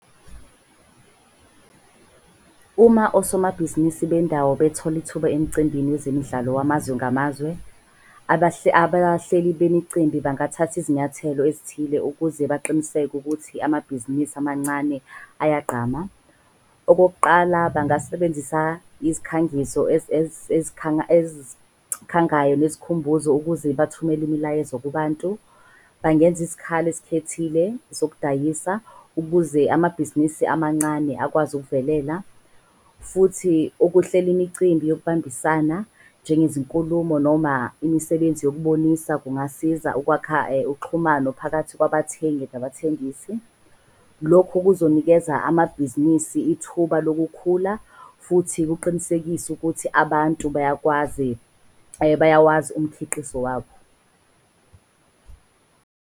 Uma osomabhizinisi bendawo betholi ithuba emcimbini wezemidlalo wamazwe ngamazwe, abahleli bemicimbi bangathathi izinyathelo ezithile ukuze baqiniseke ukuthi amabhizinisi amancane ayagqama. Okokuqala, bangasebenzisa izikhangiso ezikhangayo nezikhumbuzo ukuze bathumele imilayezo kubantu. Bangenza izikhala ezikhethekile zokudayisa ukuze amabhizinisi amancane akwazi ukuvelela. Futhi ukuhlela imicimbi yokubambisana njenge zinkulumo noma imisebenzi yokubonisa. Kungasiza ukwakha uxhumano phakathi kwabathengi nabathengisi. Lokhu kuzonikeza amabhizinisi ithuba lokukhula. Futhi kuqinisekise ukuthi abantu bayawazi umkhiqizo wabo.